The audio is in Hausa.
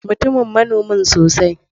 Mutumin manomi sosai.